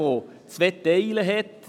Diese besteht aus zwei Teilen.